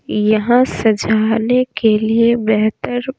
यहां सजाने के लिए बेहतर--